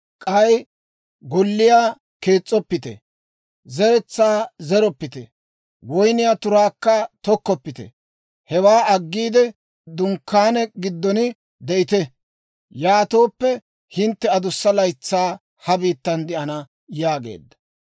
K'ay golliyaa kees's'oppite; zeretsaa zeroppite; woyniyaa turaakka tokkoppite. Hewaa aggiide, dunkkaane giddon de'ite. Yaatooppe hintte adussa laytsaa ha biittan de'ana› yaageedda.